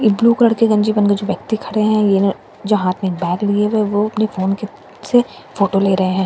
एक blue colour के गेंजी पहेंके जो व्यक्ति खारे है ईए जो हात मैं लिए हो फोन क्लिक से फोटो ले रहे हैं।